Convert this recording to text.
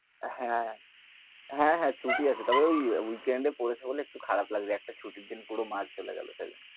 হ্যাঁ হ্যাঁ, হ্যাঁ ছুটি আছে তবে ওই week end এ পরেছে বলে একটু খারাপ লাগছে, একটা ছুটির দিন পুরো মার চলে গেলো তাই।